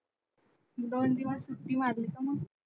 दोन दिवस सुट्टी मारली का मग?